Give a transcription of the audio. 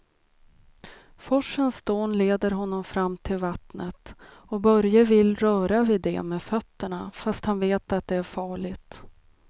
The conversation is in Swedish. Forsens dån leder honom fram till vattnet och Börje vill röra vid det med fötterna, fast han vet att det är farligt.